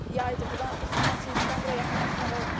Yaydır, burdan ifuniyyəti isə bura yaxınlaşmaq olmur.